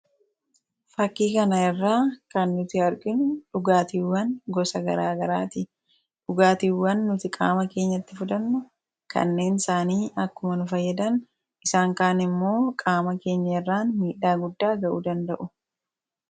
Fakii kana irra kan nuti arginu dhugaatiiwwan gosa garagaarati. Dhugaatiiwwan nuti qaama keenyatti fudhannu kanneen isaanii akkuma fayyadan isaan kaan immoo qaama keenya irraan miidhaa guddaa ga'uu danda'u.